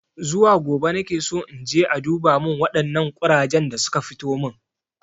Zuwa gobe nakeso inje a duba min waɗannan ƙurajen da suka fitomin